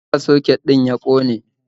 Shin me ya sa soket ɗin ya ƙone.?